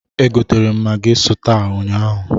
E gotere m magị sụta ụnyaahụ.